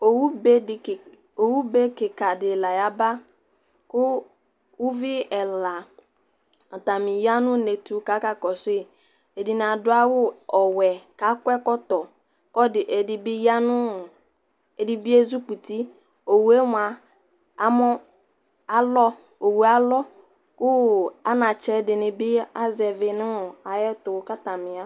owʊɓe ƙɩƙaɗɩ laƴaɓa ƙʊ ʊʋɩ ɛla atanɩƴanʊnetʊ laƙaƙɔsʊɩ ɛɗɩnɩa ɗʊ awʊ ɔwɛ ƙaƙʊɛƙɔtɔ ɩɗɩɓɩezʊƙʊtɩ owealɔ ƙʊ anatsɛƙʊwanɩazɛʋɩ